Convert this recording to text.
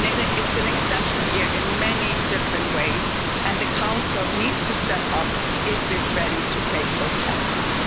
It's an exceptional year in many different ways and the Council needs to step up if it is ready to face these challenges.